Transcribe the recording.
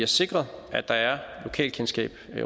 sikret at der er lokalkendskab